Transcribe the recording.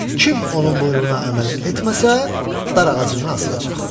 Kim onun buyruğuna əməl etməsə, darağacından asılacaq.